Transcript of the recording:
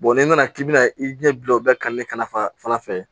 n'i nana k'i bɛna i ɲɛ bila o bɛɛ kan ne ka nafa fɛ